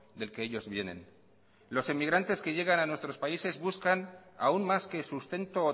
del que ellos vienen los inmigrantes que llegan a nuestros países buscan aún más que sustento o